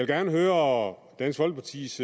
gerne høre dansk folkepartis